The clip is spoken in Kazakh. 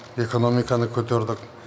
экономиканы көтердік